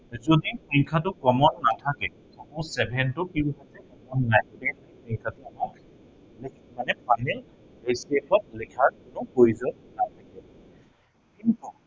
সেইটো যদি সংখ্য়াটো common নাথাকে suppose seven টো কি নাথাকে, common নাথাকে মানে আমি HCF ত লিখাৰ কোনো প্ৰয়োজন নাই। কিন্তু